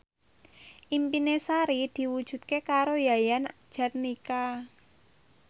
impine Sari diwujudke karo Yayan Jatnika